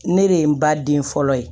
Ne de ye n ba den fɔlɔ ye